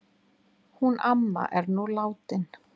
Hún amma er nú látin.